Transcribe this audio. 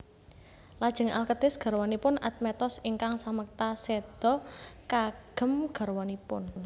Lajeng Alketis garwanipun Admetos ingkang samekta séda kagem garwanipun